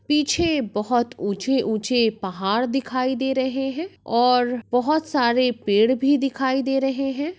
पीछे बहुत ऊंचे-ऊंचे पहाड़ दिखायी दे रहे हैं और बहुत सारे पेड़ भी दिखायी दे रहे हैं।